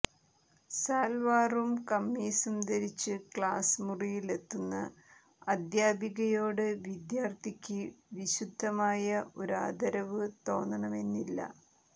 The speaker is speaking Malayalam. സാൽവാറും കമ്മീസും ധരിച്ച് ക്ലാസ് മുറിയിലെത്തുന്ന അധ്യാപികയോട് വിദ്യാർത്ഥിക്ക് വിശുദ്ധമായ ഒരാദരവ് തോന്നണമെന്നില്ല